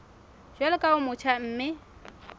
jwalo ka o motjha mme